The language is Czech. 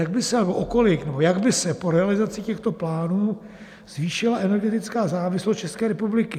A jak by se po realizaci těchto plánů zvýšila energetická závislost České republiky?